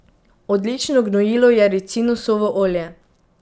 Odlično gnojilo je ricinusovo olje.